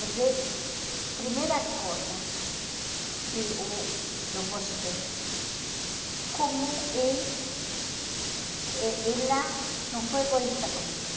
Mas eh a primeira coisa que uh eu gostei, como e e ela não foi egoísta comigo.